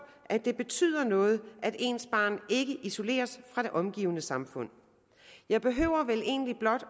at det betyder noget at ens barn ikke isoleres fra det omgivende samfund jeg behøver vel egentlig blot